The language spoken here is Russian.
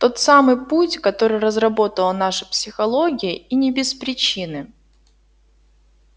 тот самый путь который разработала наша психология и не без причины